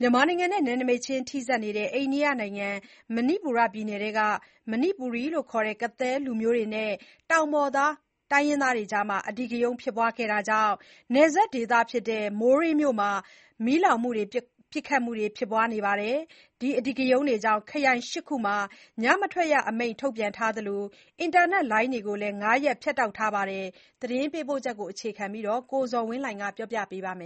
မြန်မာနိုင်ငံနဲ့ နယ်နမိတ်ချင်းထိစပ်နေတဲ့ အိန္ဒိယနိုင်ငံ၊ မဏိပူရ ပြည်နယ်အတွင်းမှာ မဏိပူရီခေါ်၊ ကသည်းလူမျိုးတွေနဲ့ တောင်ပေါ်သား တိုင်းရင်းသားတွေအကြား အဓိကရုဏ်းဖြစ်ပွားခဲ့တာကြောင့် နယ်စပ်ဒေသဖြစ်တဲ့ မိုးရေးမြို့မှာ မီးလောင်မှု၊ ပစ်ခတ်မှုတွေ ဖြစ်ပွားခဲ့ပါတယ်။ ဒီအဓိကရုဏ်းတွေကြောင့် ခရိုင် ၈ခုမှာ ညမထွက်ရအမိန့် ထုတ်ပြန်ထားသလို အင်တာနက်လိုင်းတွေကိုလည်း ၅ရက် ဖြတ်တောက်ထားပါတယ်။ ဒီအကြောင်း သတင်းပေးပို့ချက်ကို အခြေခံပြီး ကိုဇော်ဝင်းလှိုင်က တင်ပြပေးမယ်။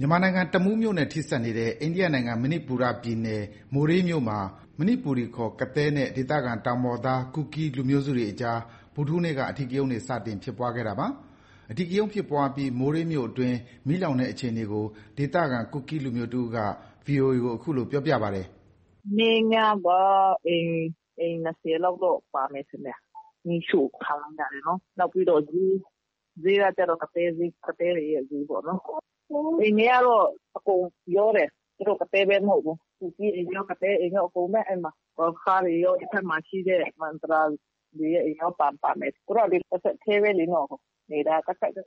မြန်မာနိုင်ငံ၊ တမူးမြို့နဲ့ထိစပ်နေတဲ့ အိန္ဒိယနိုင်ငံ၊ မဏိပူရပြည်နယ်၊ မိုးရေးမြို့မှာ မဏိပူရီခေါ်၊ ကသည်းနဲ့ ဒေသခံတောင်ပေါ်သား ကူကီး လူမျိုးစုတွေအကြားမှာ ဗုဒ္ဓဟူးနေ့က အဓိကရုဏ်းတွေ စတင်ဖြစ်ပွားခဲ့တာပါ။ အဓိကရုဏ်းဖြစ်ပွားပြီး မိုးရေးမြို့အတွင်း မီးလောင်တဲ့အခြေအနေကို ဒေသခံ ကူကီးလူမျိုးတစ်ဦးက VOA ကို အခုလို ပြောပါတယ်။ “မနေ့ညက အိမ် ၂၀လောက်တော့ ပါမယ်ထင်တယ်၊ မီးရှို့ခံရတာတွေနော်။ နောက်ပြီးတော့ ဈေး၊ ဈေးကကျတော့ ကသည်းဈေး၊ ကသည်းတွေရဲ့ဈေးပေါ့နော်။ အိမ်တွေကတော့ အကုန်ရောတယ်။ သူတို့ ကသည်းပဲ မဟုတ်ဘူး။ ကူကီး အိမ်တွေရော၊ ကသည်းအိမ်တွေရော အဲဒီမှာ။ ဂေါ်ရခါးတွေရော၊ ဒီဘက်မှာရှိတဲ့ မဒရာစီတွေရဲ့အိမ်ရော ပါမယ်။ သူတို့က တဆက်တည်းပဲလေ။ နေတာက ကပ်ကပ်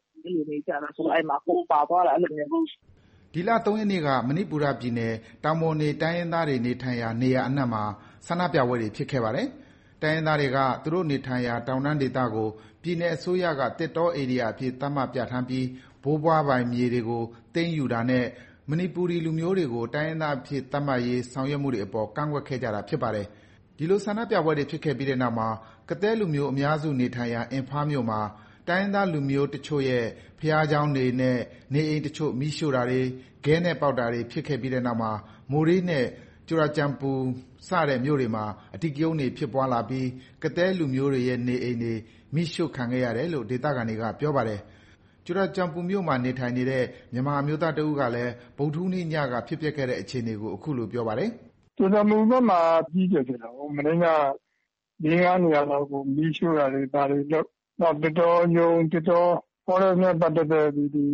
နေကြတာ ဆိုတော့ အကုန်ပါသွားတာ။ အဲလိုမျိုး။” ဒီလ ၃ရက်နေ့က မဏိပူရ ပြည်နယ်က တောင်ပေါ်နေတိုင်းရင်းသားတွေနေထိုင်ရာ နေရာအနှံမှာ ဆန္ဒပြပွဲတွေ ဖြစ်ခဲ့ပါတယ်။ တိုင်းရင်းသားတွေက သူတို့နေထိုင်ရာ တောင်တန်းဒေသကို ပြည်နယ်အစိုးရက သစ်တောဧရိယာအဖြစ် သတ်မှတ်ပြဌာန်းပြီး ဘိုးဘွားပိုင် မြေတွေကို သိမ်းယူတာနဲ့ မဏိပူရီလူမျိုးတွေကို တိုင်းရင်းသားအဖြစ် သတ်မှတ်ရေး ဆောင်ရွက်မှုတွေအပေါ် ကန့်ကွက်ခဲ့ကြတာ ဖြစ်ပါတယ်။ ဒီလို ဆန္ဒပြပွဲတွေဖြစ်ခဲ့ပြီးနောက်မှာ ကသည်းလူမျိုး အများစုနေထိုင်ရာ အင်ဖားမြို့မှာ တိုင်းရင်းသားလူမျိုးအချို့ရဲ့ ဘုရားကျောင်းတွေနဲ့ နေအိမ်အချို့ မီးရှို့တာတွေ၊ ခဲနဲ့ပေါက်တာတွေ ဖြစ်ခဲ့ပြီးနောက်မှာ မိုးရေးနဲ့ ကြူရာကျန်ပူ စတဲ့ မြို့တွေမှာ အဓိကရုဏ်းတွေ ဖြစ်ပွားလာပြီး ကသည်းလူမျိုးတွေရဲ့ နေအိမ်တွေ မီးရှိုခံခဲ့ရတယ်လို့ ဒေသခံတွေက ပြောပါတယ်။ ကြူရာကျန်ပူ မြို့မှာ နေထိုင်နေတဲ့ မြန်မာ အမျိုးသားတစ်ဦးကလည်း ဗုဒ္ဓဟူးနေ့ညက ဖြစ်ပျက်ခဲ့တဲ့အခြေအနေကို အခုလို ပြောပါတယ်။ “ကြူရာကျန်ပူဘက်မှာ အကြီးအကျယ်ဖြစ်တာပေါ့။ လေး−ငါးနေရာလောက်ကို မီးရှို့တာတွေ ဘာတွေလုပ်၊ နောက် သစ်တောရုံး၊ Forest နဲ့ ပတ်သက်တဲ့ ဒီ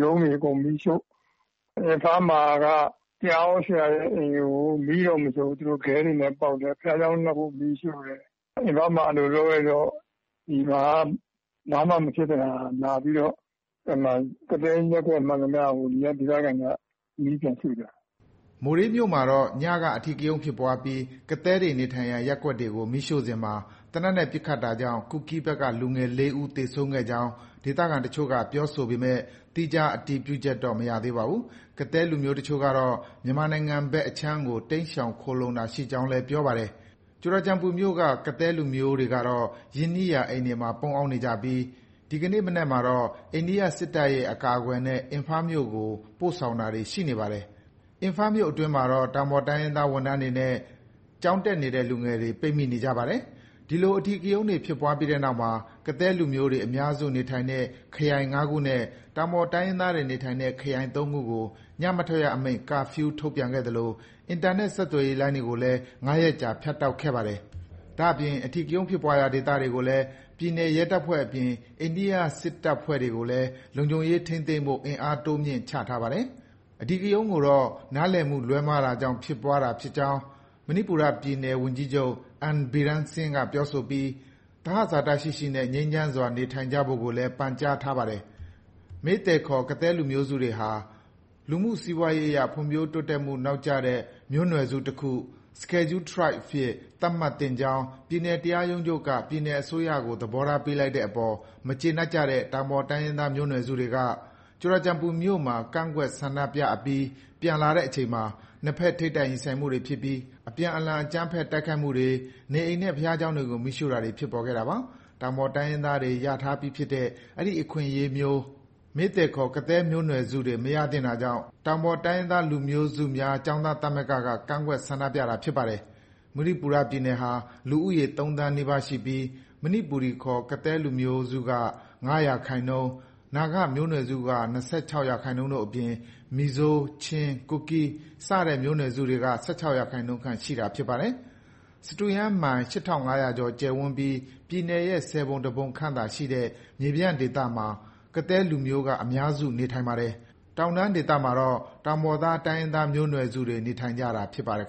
ရုံးတွေအကုန် မီးရှို့။ အင်ဖားမှာ တရားဟောဆရာရဲ့အိမ်တွေကို မီးတော့ မရှို့ဘူး၊ သူတို့ ခဲတွေနဲ့ပေါက်တယ်။ ဘုရားကျောင်း နှစ်ခု မီးရှို့တယ်။ အင်ဖားမှာ အဲလို လုပ်လိုက်တော့ ဒီမှာက ဘာမှမဖြစ်တဲ့ဟာ လာပြီးတော့ ကသည်းရပ်ကွက်မှန်သမျှကို ဒီက ဒေသခံတွေက မီးပြန်ရှို့ကြတာ။” မိုးရေးမြို့မှာတော့ ညက အဓိကရုဏ်းဖြစ်ပွားပြီး ကသည်းတွေနေထိုင်ရာ ရပ်ကွက်ကို မီးရှို့စဉ်မှာ သေနတ်နဲ့ ပစ်ခတ်တာကြောင့် ကူကီးဘက်က လူငယ် ၄ဦးသေဆုံးကြောင်း ဒေသခံတချို့က ပြောဆိုပေမဲ့ သီးခြား အတည်ပြုချက်တော့ မရသေးပါဘူး။ ကသည်းလူမျိုးအချို့ကတော့ မြန်မာနိုင်ငံဘက်အခြမ်းကို တိမ်းရှောင် ခိုလှုံတာရှိကြောင်းလည်း ပြောပါတယ်။ ကြူရာကျန်ပူမြို့က ကသည်းလူမျိုးတွေကတော့ ရင်းနှီးရာ အိမ်တွေမှာ ပုန်းရှောင်နေကြပြီး ဒီကနေ့ မနက်မှာတော့ အိန္ဒိယစစ်တပ်ရဲ့ အကာအကွယ်နဲ့ အင်ဖားမြို့ကို ပို့ဆောင်တာတွေ ရှိနေပါတယ်။ အင်ဖားမြို့အတွင်းမှာတော့ တောင်ပေါ်တိုင်းရင်းသား ဝန်ထမ်းတွေနဲ့ ကျောင်းတက်နေတဲ့ လူငယ်တွေ ပိတ်မိနေကြပါတယ်။ ဒီလို အဓိကရုဏ်းတွေဖြစ်ပွားပြီးနောက်မှာ ကသည်းလူမျိုးတွေအများစုနေထိုင်တဲ့ ခရိုင် ၅ခုနဲ့ တောင်ပေါ်တိုင်းရင်းသားတွေနေထိုင်တဲ့ ခရိုင် ၃ခုကို ညမထွက်ရအမိန့် Curfew ထုတ်ပြန်ခဲ့သလို အင်တာနက်ဆက်သွယ်ရေးလိုင်းတွေကိုလည်း ၅ရက်ကြာ ဖြတ်တောက်ခဲ့ပါတယ်။ ဒါအပြင် အဓိကရုဏ်းဖြစ်ပွားရာဒေသတွေကိုလည်း ပြည်နယ်ရဲတပ်ဖွဲ့အပြင် အိန္ဒိယစစ်တပ်ဖွဲ့တွေကိုလည်း လုံခြုံရေးထိန်းသိမ်းဖို့ အင်အားတိုးမြှင့်ချထားပါတယ်။ ဒီအဓိကရုဏ်းကိုတော့ နားလည်မှုလွဲမှားတာကြောင့် ဖြစ်ပွားတာဖြစ်ကြောင်း မဏိပူရပြည်နယ် ဝန်ကြီးချုပ် N Biren Singh ပြောဆိုပြီး သဟဇာတရှိရှိနဲ့ ငြိမ်းချမ်းစွာနေထိုင်ကြဖို့ကိုလည်း ပန်ကြားထားပါတယ်။ Meitei ခေါ်၊ ကသည်းမျိုးနွယ်စုတွေဟာ လူမှု စီးပွားရေးအရ ဖွံ့ဖြိုးမှုနောက်ကျတဲ့ မျိုးနွယ်စုတခု အဖြစ် သတ်မှတ်သင့်ကြောင်း ပြည်နယ်တရားရုံးချုပ်က ပြည်နယ်အစိုးရကို သဘောထားပေးလိုက်တဲ့အပေါ် မကျေနပ်ကြတဲ့ တောင်ပေါ်တိုင်းရင်းသား မျိုးနွယ်စုတွေက Churachandpur မြို့မှာ ကန့်ကွက် ဆန္ဒပြအပြီး ပြန်လာတဲ့အချိန်မှာ နှစ်ဘက် ထိပ်တိုက် ရင်ဆိုင်မှုတွေဖြစ်ပြီး အပြန်အလှန် အကြမ်းဖက် တိုက်ခိုက်မှုတွေ၊ နေအိမ်နဲ့ ဘုရားကျောင်းတွေကို မီးရှို့တာတွေ ဖြစ်ပေါ်လာခဲ့တာပါ။ တောင်ပေါ် တိုင်းရင်းသား တွေ ရထားပြီးဖြစ်တဲ့ အဲဒီ အခွင့်အရေးမျိုး Meitei ခေါ်၊ ကသည်းမျိုးနွယ်စုတွေ မရသင့်တာကြောင့် တောင်ပေါ်တိုင်းရင်းသား လူမျိုးစုမျိုးစုများ ကျောင်းသားသမဂ္ဂက ကန့်ကွက် ဆန္ဒပြတာဖြစ်ပါတယ်။ မဏိပူရပြည်နယ်ဟာ လူဦးရေ ၃သန်းနီးပါးရှိပြီး မဏိပူရီခေါ် ကသည်းလူမျိုးက ၅၃ရာခိုင်နှုန်း၊ နာဂမျိုးနွယ်စုက ၂၆ရာခိုင်နှုန်းတို့အပြင် မီဇိုး၊ ချင်း၊ ကူကီး စတဲ့မျိုးနွယ်စုတွေက ၁၆ရာခိုင်နှုန်းခန့် ရှိတာဖြစ်ပါတယ်။ စတုရန်းမိုင် ၈၅၀၀ကျော် ကျယ်ဝန်းပြီး ပြည်နယ်ရဲ့ ၁၀ပုံ ၁ပုံခန့်သာရှိတဲ့ မြေပြန့်ဒေသမှာ ကသည်းလူမျိုးက အများစုနေထိုင်ပါတယ်။ ကျန်တောင်တန်းဒေသမှာတော့ တောင်ပေါ်သား တိုင်းရင်းသားမျိုးနွယ်စုတွေ နေထိုင်ကြတာဖြစ်ပါတယ်